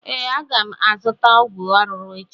Ee, aga azụta ọgwụ arụrụ echi